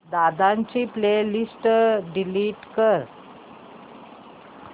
दादा ची playlist delete कर